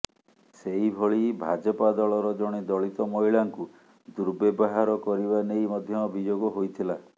ସେହିଭଳି ଭାଜପା ଦଳର ଜଣେ ଦଳିତ ମହିଳାଙ୍କୁ ଦୁର୍ବ୍ୟବହାର କରିବା ନେଇ ମଧ୍ୟ ଅଭିଯୋଗ ହୋଇଥିଲା